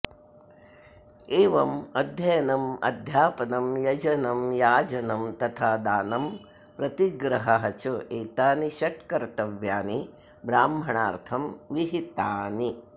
एवम् अध्ययनम् अध्यापनं यजनं याजनं तथा दानं प्रतिग्रहः च एतानि षट् कर्तव्यानि ब्राह्मणार्थं विहितानि